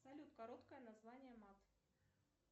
салют короткое название мат